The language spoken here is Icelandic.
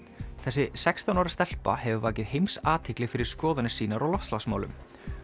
þessi sextán ára stelpa hefur vakið heimsathygli fyrir skoðanir sínar á loftslagsmálum